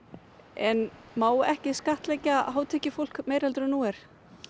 en má ekki skattleggja hátekjufólk meira heldur en nú er